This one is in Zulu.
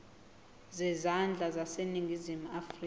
zezandla zaseningizimu afrika